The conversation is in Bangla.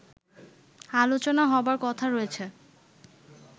আলোচনা হবার কথা রয়েছে